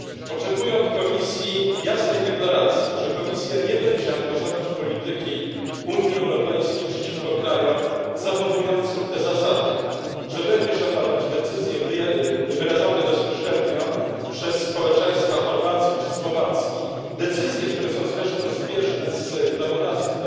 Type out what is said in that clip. Oczekuję od Komisji jasnej deklaracji, że Komisja nie będzie angażować polityki Unii Europejskiej przeciwko krajom zachowującym te zasady, że będzie szanować decyzje wyrażone bezpośrednio przez społeczeństwa Chorwacji czy Słowacji decyzje, które są zresztą zbieżne z prawodawstwem,